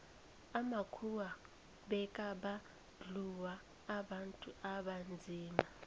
amakhuwa bekabandluua abantu abanzima